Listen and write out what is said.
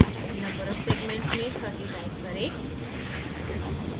number of segments में 30 type करें